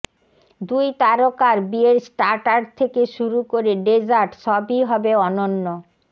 দুই তারকার বিয়ের স্টার্টার থেকে শুরু করে ডেজার্ট সবই হবে অনন্য